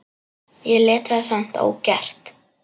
Ég lét það samt ógert.